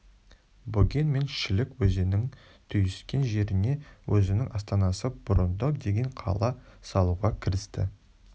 бөген мен шілік өзенінің түйіскен жеріне өзінің астанасы бұрындық деген қала салуға кірісті